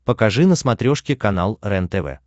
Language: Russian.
покажи на смотрешке канал рентв